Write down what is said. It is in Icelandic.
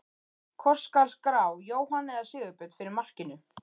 Hvort skal skrá Jóhann eða Sigurbjörn fyrir markinu?